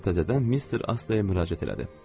O təzədən Mister Asteya müraciət elədi.